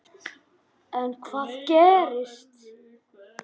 En hvað gerist.